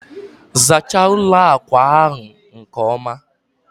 zachaa ụlọ akwa ahụ nke ọma!